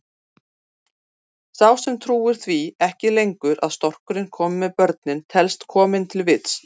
Sá sem trúir því ekki lengur að storkurinn komi með börnin telst kominn til vits.